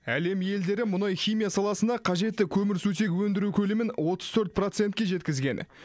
әлем елдері мұнай химия саласына қажетті көмірсутек өндіру көлемін отыз төрт процентке жеткізген